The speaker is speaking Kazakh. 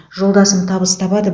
жолдасым табыс табады